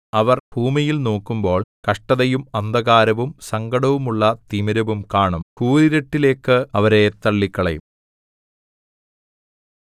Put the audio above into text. അവർ ഭൂമിയിൽ നോക്കുമ്പോൾ കഷ്ടതയും അന്ധകാരവും സങ്കടമുള്ള തിമിരവും കാണും കൂരിരുട്ടിലേക്ക് അവരെ തള്ളിക്കളയും